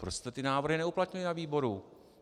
Proč jste ty návrhy neuplatnili na výboru?